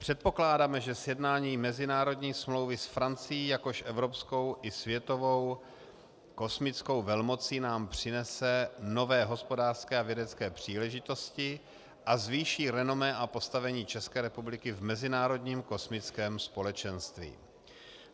Předpokládáme, že sjednání mezinárodní smlouvy s Francií jako evropskou a světovou kosmickou velmocí nám přinese nové hospodářské a vědecké příležitosti a zvýší renomé a postavení České republiky v mezinárodním kosmickém společenství.